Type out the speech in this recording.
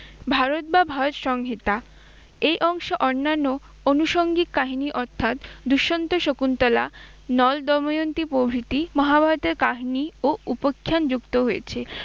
ভারত বা ভারত সংহিতা। এই অংশ অন্যান্য অনুষঙ্গিক কাহিনী অর্থাৎ দুষ্মন্ত শকুন্তলা নল দময়ন্তী প্রভৃতি মহাভারতের কাহিনী ও উপখ্যান যুক্ত হয়েছে।